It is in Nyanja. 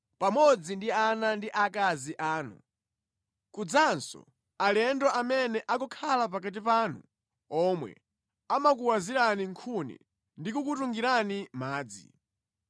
pamodzi ndi ana ndi akazi anu, kudzanso alendo amene akukhala pakati panu omwe amakuwazirani nkhuni ndi kukutungirani madzi.